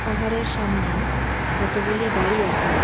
পাহাড়ের সামনে কতগুলি বাড়ি আছে.